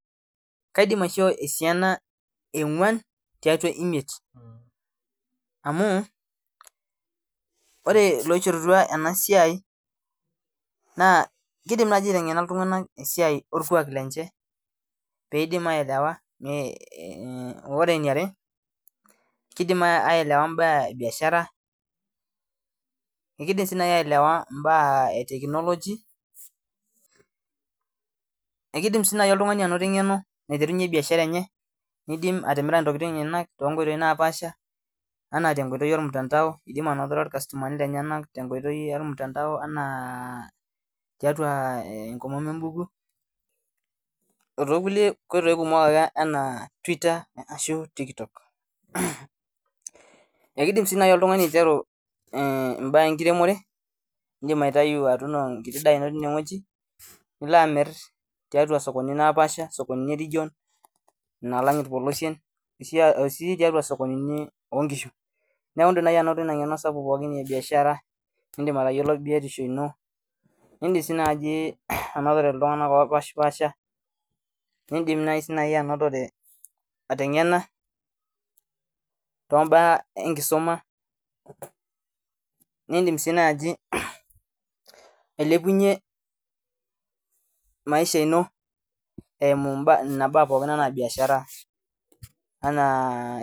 Kaidim esiana ee ong'uan tiatua emiet amu ore eloishoruata ena siai naa kidim naaji aiteng'ena iltung'ana esiai orkuak lenye pee edim aelewa ore eniare mbaa ebiashara kidim si naaji aelewa mbaa etekinoloji ekidim sii naaji oltung'ani anoto eng'eno naiterunye biashara eno nidim atimira entokitin enyena tonkoitoi napashaa ena tee nkoitoi ormutandao nidim anoto irkastomani lenyena tenkoitoi ormutandao enaa enkomono ebukui oo too kulie oitoi kumok enaa twitter enaa TikTok ekidim sii naaji oltung'ani aiteru Edina tuno enkiti daa eno nilo amir too sokonini napashaa sokonini eregion nalag irpolosien osii too sokonini oo nkishu neeku edim naaji anoto ena ng'eno pee biashara edim atayiolo biotisho eno nidim si anotore iltung'ana opashipasha notore ateng'ena too mbaa enkisuma nidim sii najii ailepunye maisha eno eyimu Nena mbaa pookin enaa biashara